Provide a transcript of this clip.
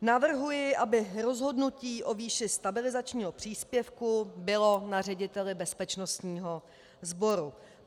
Navrhuji, aby rozhodnutí o výši stabilizačního příspěvku bylo na řediteli bezpečnostního sboru.